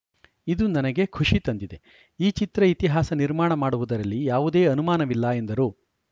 ಇದು ನನಗೆ ಖುಷಿ ತಂದಿದೆ ಈ ಚಿತ್ರ ಇತಿಹಾಸ ನಿರ್ಮಾಣ ಮಾಡುವುದರಲ್ಲಿ ಯಾವುದೇ ಅನುಮಾನವಿಲ್ಲ ಎಂದರು